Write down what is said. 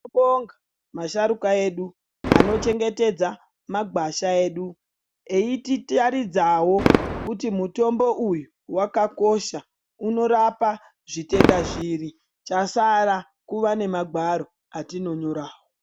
Tinobonga masharukwa edu anochengetedza magwasha edu eititaridzawo kuti mutombo uyu wakakosha unorapa zvitenda zviri chasara kuva nemagwaro atinonyorawo. .